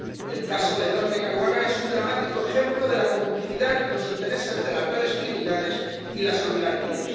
El caso de Daphne Caruana es un dramático ejemplo de la complicidad entre los intereses de las redes criminales y las oligarquías.